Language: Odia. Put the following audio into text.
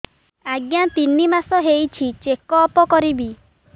ଆଜ୍ଞା ତିନି ମାସ ହେଇଛି ଚେକ ଅପ କରିବି